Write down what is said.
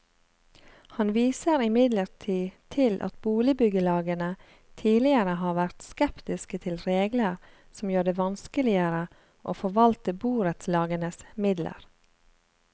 Han viser imidlertid til at boligbyggelagene tidligere har vært skeptiske til regler som gjør det vanskeligere å forvalte borettslagenes midler.